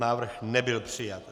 Návrh nebyl přijat.